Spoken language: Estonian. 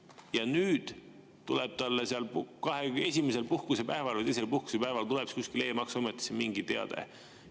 Ja nüüd tuleb talle esimesel puhkusepäeval või teisel puhkusepäeval kuskile e‑maksuametisse mingi teade.